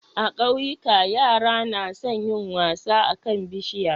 A kauyika yara nason yin wasa akan bishiya